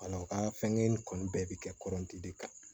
u ka fɛnkɛ in kɔni bɛɛ bɛ kɛ de kan